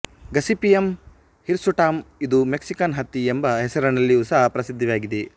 Gossypium ಹಿರ್ಸುಟಮ್ ಇದು Mexican ಹತ್ತಿ ಎಂಬ ಹೆಸರಿನಲ್ಲಿಯೂ ಸಹ ಪ್ರಸಿದ್ಧವಾಗಿದೆ